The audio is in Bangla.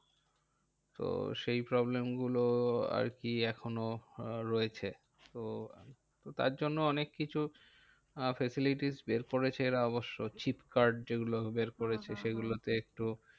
তো সেই problem গুলো আরকি এখনো রয়েছে। তো তার জন্য অনেক কিছু facilities বের করেছে এরা অবশ্য। chip card যে গুলো বের করেছে সেই গুলো তে একটু